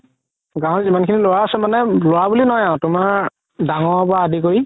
গাওৰ যিমান খিনি ল'ৰা আছে মানে ল'ৰা বুলি নহয় আৰু তুমাৰ ডাঙৰৰ পৰা আদি কৰি